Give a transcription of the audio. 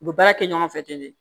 U bɛ baara kɛ ɲɔgɔn fɛ ten